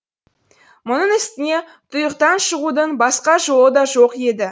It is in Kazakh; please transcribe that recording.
мұның үстіне тұйықтан шығудың басқа жолы да жоқ еді